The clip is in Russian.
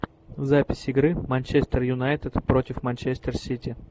запись игры манчестер юнайтед против манчестер сити